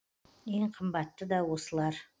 ең қымбаты да осылар